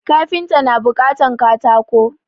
Kafinta na buƙatan katako